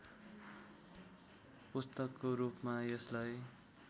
पुस्तकको रूपमा यसलाई